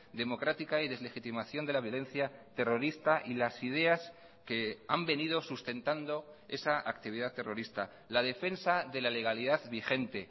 democrática y deslegitimación de la violencia terrorista y las ideas que han venido sustentando esa actividad terrorista la defensa de la legalidad vigente